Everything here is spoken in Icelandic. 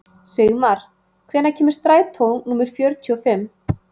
Sigmar, hvenær kemur strætó númer fjörutíu og fimm?